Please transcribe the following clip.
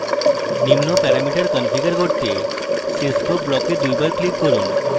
নিম্ন parameter configure করতে cscope block এ দুইবার click করুন